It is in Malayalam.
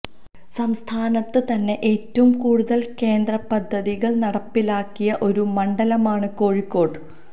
സംസ്ഥാനത്ത് തന്നെ ഏറ്റവും കൂടുതല് കേന്ദ്ര പദ്ധതികള് നടപ്പിലാക്കിയ ഒരു മണ്ഡലമാണ് കോഴിക്കോട്ട്